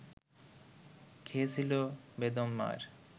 খেয়েছিল বেদম মার